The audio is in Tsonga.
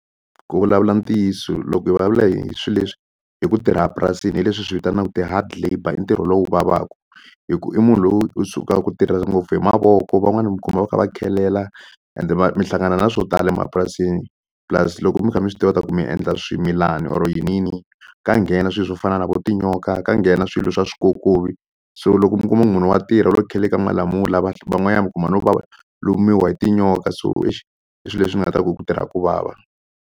Ku vulavula ntiyiso loko hi vulavula hi swi leswi hi ku tirha purasini hi leswi hi swi vitanaku ti-hard labour i ntirho lowu vavaku hi ku i munhu loyi u suka ku tirha ngopfu hi mavoko van'wani mi kuma va kha va khelela ende mi hlangana na swo tala emapurasini plus loko mi kha mi swi tiva ta ku mi endla swimilana or yini yi ka nghena swilo swo fana na vo tinyoka ka nghena swilo swa swikokovi so loko mi kuma munhu wa tirha u le ku kheleleni ka malamula van'wanyana mi kuma no va lumiwa hi tinyoka so exi i swi leswi ni nga ta ku ku tirha ku vava.